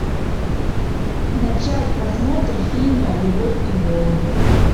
начать просмотр фильма любовь и голуби